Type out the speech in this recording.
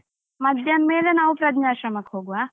ಮಧ್ಯಾಹ್ನ ಮೇಲೆ ನಾವು ಪ್ರಜ್ನಾಶ್ರಮಕ್ಕೆ ಹೋಗುವ.